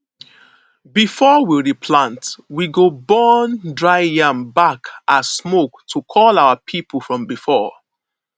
before we replant we go burn dry yam back as smoke to call our people from before